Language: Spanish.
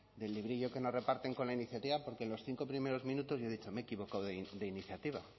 del librillo que nos reparten con la iniciativa porque en los cinco primeros minutos yo he dicho me he equivocado de iniciativa